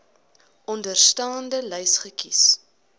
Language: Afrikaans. onderstaande lys kies